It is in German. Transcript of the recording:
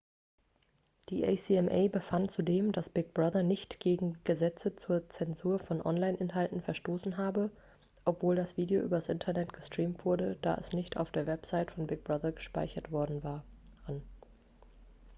die acma befand zudem dass big brother nicht gegen gesetze zur zensur von online-inhalten verstoßen habe obwohl das video übers internet gestreamt wurde da es nicht auf der website von big brother gespeichert worden waren